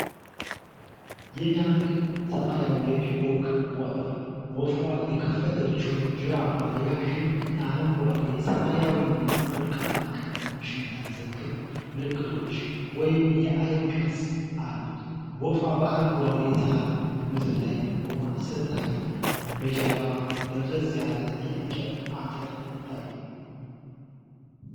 የሚያምር ሰማያዊ የፒኮክ ወፍ ። ወፏ የከፈተችው ጅራቷ ረዣዥም እና አረንጓዴ፣ ሰማያዊና ወርቃማ ቀለሞችን የያዘ ክብ ምልክቶች (የዐይን ቅርጽ) አሉት። ወፏ በአረንጓዴ የሳር ምድር ላይ ቆማ ስትታይ፣ በጀርባ ደብዘዝ ያለ የእንጨት አጥር ይታያል።